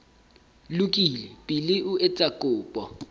lokile pele o etsa kopo